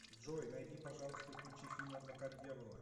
джой найди пожалуйста и включи фильм адвокат дьявола